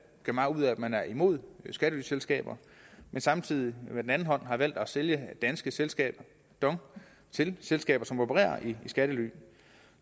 gør meget ud af at man er imod skattelyselskaber men samtidig har valgt at sælge danske selskaber dong til selskaber som opererer i skattely